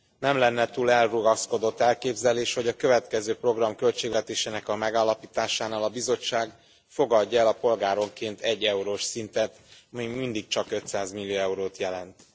Nem lenne túl elrugaszkodott elképzelés, hogy a következő program költségvetésének a megállapításánál a Bizottság fogadja el a polgáronként 1 eurós szintet, ami még mindig csak 500 millió eurót jelent.